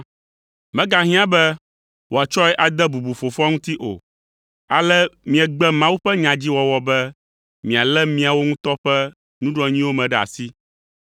megahiã be wòatsɔe ade bubu fofoa ŋuti o. Ale miegbe Mawu ƒe nyadziwɔwɔ be mialé miawo ŋutɔ ƒe nuɖoanyiwo me ɖe asi.